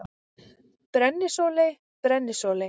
Brennisóley: Brennisóley.